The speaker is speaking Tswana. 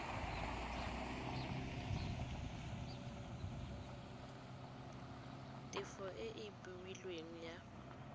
tefo e e beilweng ya